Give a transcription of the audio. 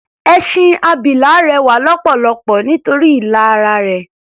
Ẹṣin abilà rẹwà lọ́pọ̀lọpọ̀ nítorí ilà ara rẹ̀.